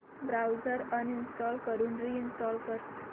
browser uninstall करून reinstall कर